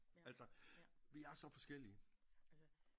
Altså vi er så forskellige